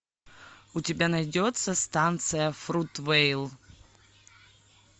у тебя найдется станция фрутвейл